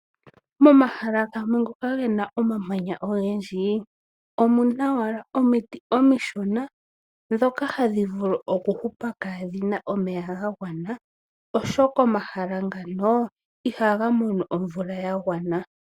Momahala gamwe ngoka he na omamanya ogendji, omu na wala omiti omishona, ndhoka hadhi vulu okuhupa kaa dhi na omeya ga gwana , oshoka omahala ngano, ihaga mono omvula ya gwana .